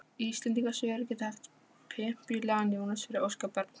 Íslendingasögur geti haft pempíulegan Jónas fyrir óskabarn.